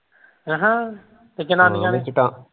ਅਹਾਂ ਤੇ ਜਨਾਨੀਆਂ